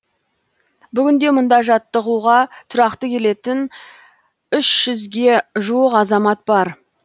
бүгінде мұнда жаттығуға тұрақты келетін үш жүзге жуық азамат бар